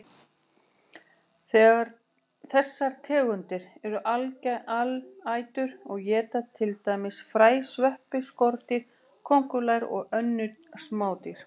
Þessar tegundir eru alætur og éta til dæmis fræ, sveppi, skordýr, kóngulær og önnur smádýr.